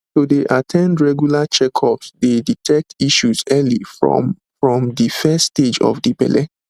to dey at ten d regular checkups dey detect issues early from from de first stage of de belle